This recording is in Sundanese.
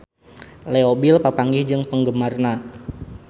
Leo Bill papanggih jeung penggemarna